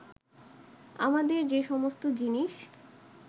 আমাদের যে সমস্ত জিনিস